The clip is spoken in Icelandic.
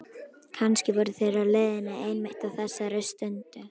Kannski voru þeir á leiðinni einmitt á þessari stundu.